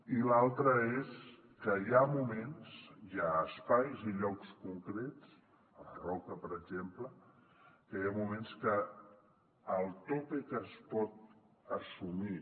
i l’altra és que hi ha moments hi ha espais i llocs concrets a la roca per exemple que hi ha moments que el tope que es pot assumir